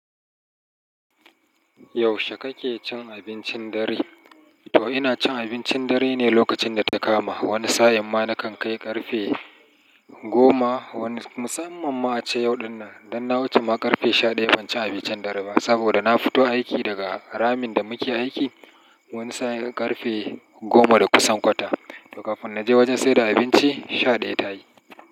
Yaushe kake cin abincin dare? To ina cin abincin dare ne lokacin da ta kama. Wani sa'in ma na kan kai ƙarfe goma. Wani musamman ma ce yau dinnan. Dan na wuce ma ƙarfe shaɗaya ban ci abincin dare ba. Saboda na fito aiki daga ramin da muke aiki. Wani sa'a ƙarfe goma da kusan kwata. To kafin na je wajen saida abinci shaɗaya ta yi.